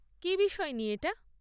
কী বিষয় নিয়ে এটা?